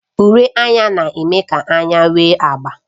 Uri anya na-eme ka anya nwee agba.